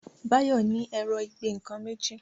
Bayo ní Ẹ̀rọ ìgbẹ́-nǹkan méjì.